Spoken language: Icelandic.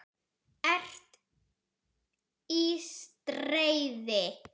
ERT Í STREÐI.